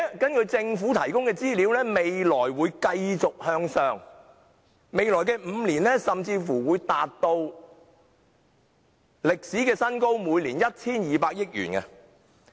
根據政府提供的資料，未來還會繼續上升，甚至在未來5年會達至每年 1,200 億元的歷史新高。